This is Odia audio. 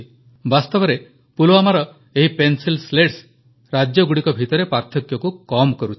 ବାସ୍ତବରେ ପୁଲୱାମାର ଏହି ପେନ୍ସିଲ ସ୍ଲେଟ୍ ରାଜ୍ୟଗୁଡ଼ିକ ଭିତରେ ପାର୍ଥକ୍ୟକୁ କମ୍ କରୁଛି